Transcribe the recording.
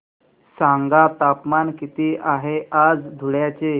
सांगा तापमान किती आहे आज धुळ्याचे